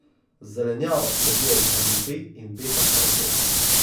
Zelenjava vsebuje vitamin B in betakaroten.